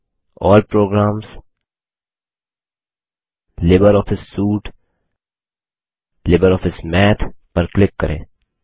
अल्ल प्रोग्रामसगट्गट लिब्रियोफिस सूटेगटीजीटी LibreOffice Math पर क्लिक करें